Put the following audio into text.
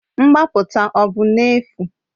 Mgbapụta ọ bụ n'efu?